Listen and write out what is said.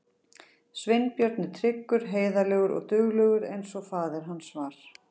Sveinbjörn er tryggur, heiðarlegur og duglegur eins og faðir hans var.